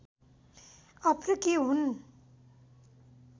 अफ्रिकी हुन्